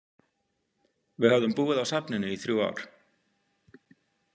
Við höfðum búið á safninu í þrjú ár.